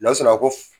Lasɔrɔ a ko